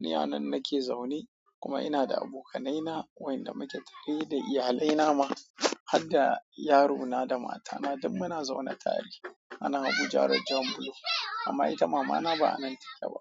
Ni a nan nake zaune kuma ina da abokanaina, wayanda muke tare da iyalina ma. Har da yarona da matana, duk muna zaune tare a nan Abuja road, jan Bulo. Amma ita mamana ba a nan take ba.